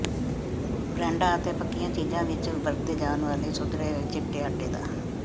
ਬਰੈੱਡਾਂ ਅਤੇ ਪੱਕੀਆਂ ਚੀਜ਼ਾਂ ਵਿੱਚ ਵਰਤੇ ਜਾਣ ਵਾਲੇ ਸੁਧਰੇ ਚਿੱਟੇ ਆਟੇ ਦਾ